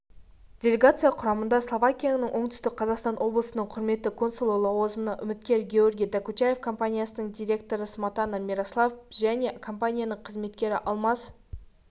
делегация құрамында словакияның оңтүстік қазақстан облысындағы құрметті консулы лауазымынан үміткер георгий докучаев компаниясының директоры сматана мирослав және компаниясының қызметкері алмаз